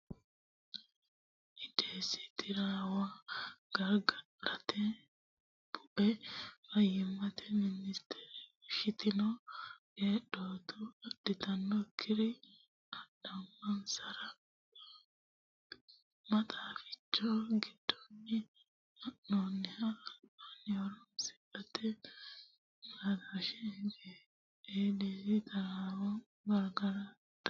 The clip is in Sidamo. Eedisi taraawo gargadhate Bue Fayyimmate Minstere fushshitino qeedhootu adhantinokkiri adhamansara maxaaficho giddonni haa noonniho albaanni horontanni siimu xaadooshshe Eedisi taraawo gargadhate.